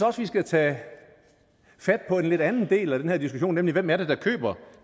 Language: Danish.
også vi skal tage fat på en lidt anden del af den her diskussion nemlig hvem det er der køber